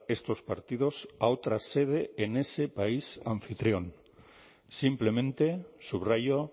estos partidos a otra sede en ese país anfitrión simplemente subrayó